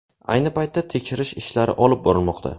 Ayni paytda tekshirish ishlari olib borilmoqda.